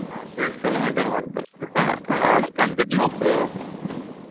ಆಹ್ maintain ಮಾಡ್ತಾರೆ continuous .